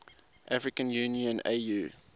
african union au